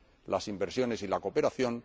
las inversiones y la cooperación